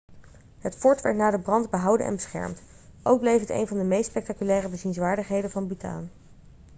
het fort werd na de brand behouden en beschermd ook bleef het een van de meest spectaculaire bezienswaardigheden van bhutan